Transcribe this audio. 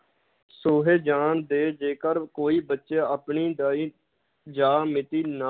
ਛੂਹੇ ਜਾਨ ਤੇ ਜੇਕਰ ਕੋਈ ਬੱਚਾ ਆਪਣੀ ਦਾਈ ਜਾਂ ਮਿਤੀ ਨ~